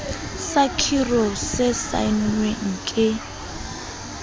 sa khiro se saennweng ke